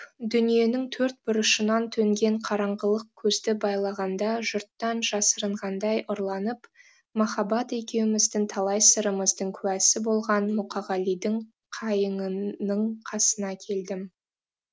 дүниенің төрт бұрышынан төнген қараңғылық көзді байлағанда жұрттан жасырынғандай ұрланып махаббат екеуміздің талай сырымыздың куәсі болған мұқағалидың қайыңының қасына келдім